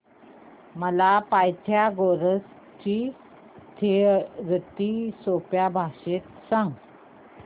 मला पायथागोरस ची थिअरी सोप्या भाषेत सांग